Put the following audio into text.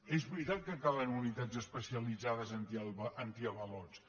és veritat que calen unitats especialitzades antiavalots